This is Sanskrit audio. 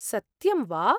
सत्यं वा!